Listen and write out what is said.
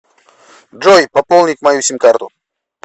джой пополнить мою сим карту